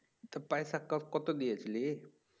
তো পয়সা কব্ কত দিয়েছিলি?